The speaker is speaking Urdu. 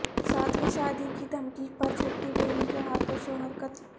ساتویں شادی کی دھمکی پر چھٹی بیوی کے ہاتھوں شوہر قتل